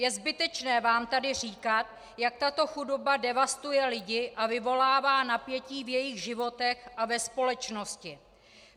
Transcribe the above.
Je zbytečné vám tady říkat, jak tato chudoba devastuje lidi a vyvolává napětí v jejich životech a ve společnosti.